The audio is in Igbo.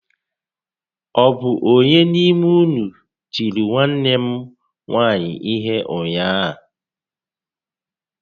Ọ bụ ónyé n'ime ụnụ tìrì nwanne nne m nwaanyị ihé ụnyaahụ?